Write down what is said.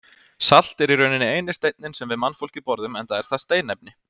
Salt er í rauninni eini steinninn sem við mannfólkið borðum enda er það steinefni.